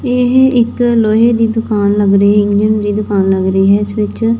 ਤੇ ਇਹ ਇੱਕ ਲੋਹੇ ਦੀ ਦੁਕਾਨ ਲੱਗ ਰਹੀ ਇੰਡੀਅਨ ਦੀ ਦੁਕਾਨ ਲੱਗ ਰਹੀ ਹੈ ਇਸ ਵਿੱਚ--